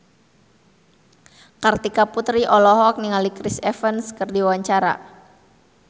Kartika Putri olohok ningali Chris Evans keur diwawancara